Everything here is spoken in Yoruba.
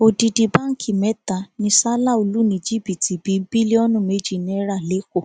odidi báǹkì mẹta ni salau lù ní jìbìtì bíi bílíọnù méjì náírà lẹkọọ